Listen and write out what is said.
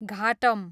ghatam